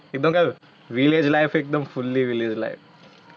ઇ બકા village life એકદમ fully village life.